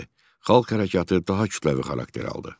Xalq hərəkatı daha kütləvi xarakter aldı.